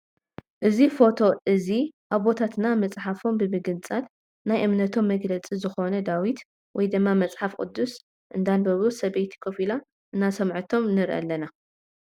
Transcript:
እዚ ፎቶ እዚ ኣቦታትና ምፅሓፎም ብምግንፃል ናይ እምነቶም መግልፂ ዝኮነ ዳዊት ወይ ድማ መፅሓፍ ቅዱስ እናንበቡ ስብይቲ ኮፍ ኢላ እናስምዓቶም ንርኢ ኣለና።